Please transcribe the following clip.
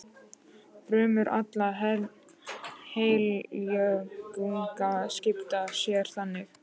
Frumur allra heilkjörnunga skipta sér þannig.